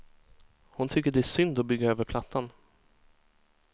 Hon tycker det är synd att bygga över plattan.